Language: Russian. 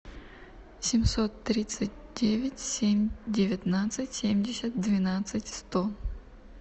семьсот тридцать девять семь девятнадцать семьдесят двенадцать сто